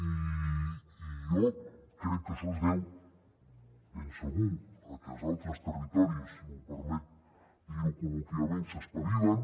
i jo crec que això es deu ben segur a que els altres territoris si em permet dir ho col·loquialment s’espavilen